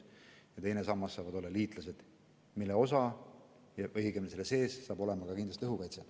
Teine sammas on liitlased ja selles saab kindlasti olema oma osa ka õhukaitsel.